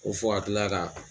O fɔ ka kila ka.